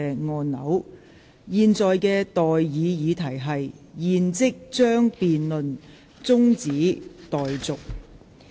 我現在向各位提出的待議議題是：現即將辯論中止待續。